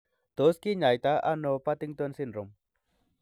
Tos kinyaita ono Partington syndrome?